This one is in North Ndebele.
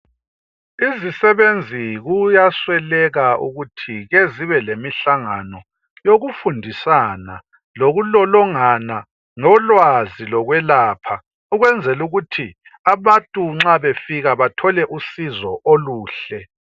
Izisebenzi kuyasweleka ukuthi ke zibelemihlangano yokufundisana lokulolongana ngolwazi lokwelapha ukwenzela ukuthi abantu nxa befika bathole usizo oluhle.